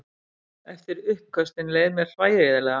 Eftir uppköstin leið mér hryllilega.